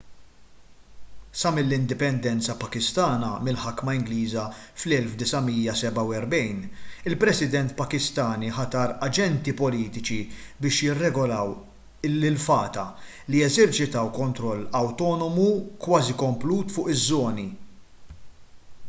sa mill-indipendenza pakistana mill-ħakma ingliża fl-1947 il-president pakistani ħatar aġenti politiċi biex jirregolaw lil fata li jeżerċitaw kontroll awtonomu kważi komplut fuq iż-żoni